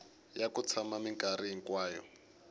ya ku tshama minkarhi hinkwayo